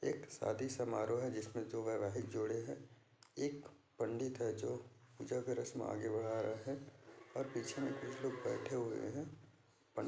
एक शादी समारोह है जिसमे दो वैवाहिक जोड़े है एक पंडित है जो पूजा का रस्म आगे बढ़ा रहा है और पीछे कुछ लोग बैठे हुए है। पं--